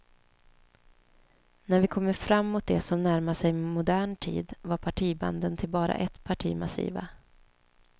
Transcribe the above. När vi kommer fram mot det som närmar sig modern tid var partibanden till bara ett parti massiva.